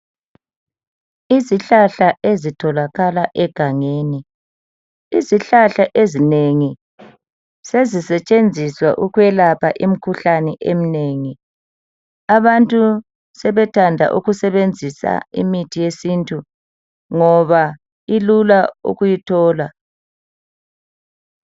Izihlahla ezitholakala egangeni. Izihlahla ezinengi sezisetshenziswa ukwelapha imikhuhlane eminengi. Abantu sebethanda ukusebenzisa imithi yesintu ngoba ilula ukuyithola.